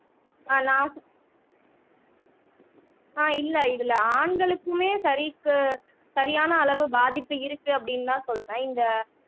ஆஹ் நான் ஆஹ் இல்லை இதுல ஆண்களுக்குமே சரிக்கு சரியான அளவு பாதிப்பு இருக்கு அப்படின்னுதான் சொல்றேன் இந்த